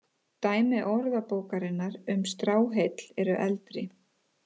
Dæmi Orðabókarinnar um stráheill eru eldri.